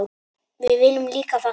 Við viljum líka fagna.